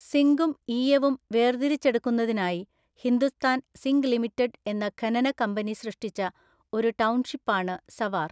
സിങ്കും ഈയവും വേർതിരിച്ചെടുക്കുന്നതിനായി Hindustan zinc limited എന്ന ഖനന കമ്പനി സൃഷ്ടിച്ച ഒരു ടൗൺഷിപ്പാണ് സവാർ.